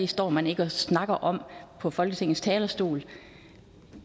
står man ikke og snakker om på folketingets talerstol